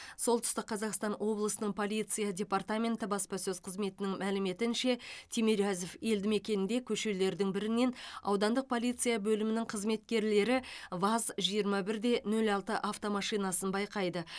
солтүстік қазақстан облысының полиция департаменті баспасөз қызметінің мәліметінше тимирязев елдімекенінде көшелердің бірінен аудандық полиция бөлімінің қызметкерлері ваз жиырма бір де нөл алты автомашинасын байқайды